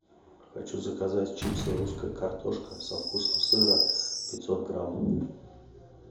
хочу заказать чипсы русская картошка со вкусом сыра пятьсот грамм